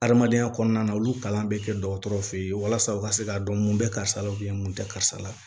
Adamadenya kɔnɔna na olu kalan bɛ kɛ dɔgɔtɔrɔ fɛ yen walasa u ka se k'a dɔn mun bɛ karisa la mun tɛ karisa la